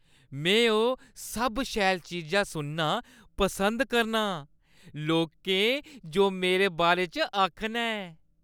में ओह् सब शैल चीजां सुनना पसंद करना आं, लोकें जो मेरे बारे च आखना ऐ।